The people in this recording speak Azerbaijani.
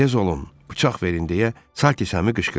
Tez olun, bıçaq verin deyə Salters Semy qışqırdı.